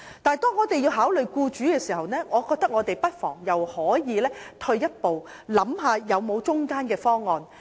但當我們要從僱主的角度考慮時，我認為我們不妨退一步想想有否中間方案。